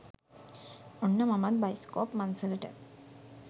ඔන්න මමත් බයිස්කෝප් මංසලට